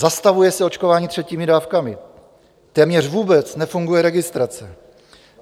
Zastavuje se očkování třetími dávkami, téměř vůbec nefunguje registrace.